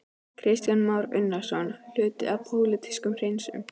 Kristján Már Unnarsson: Hluti af pólitískum hreinsunum?